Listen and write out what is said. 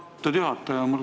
Aitäh, austatud juhataja!